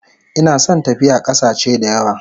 Ina son tafiya kasache dayawa